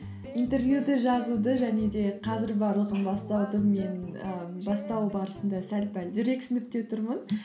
интервьюді жазуды және де қазір барлығын бастауды мен ііі бастау барысында сәл пәл жүрексініп те тұрмын